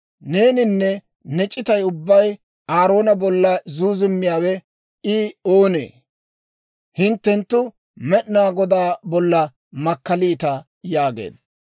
Neeninne ne c'itay ubbay Aaroona bolla zuuzummiyaawe, I oonee? hinttenttu Med'inaa Godaa bolla makkaliita» yaageedda.